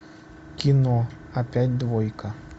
кино опять двойка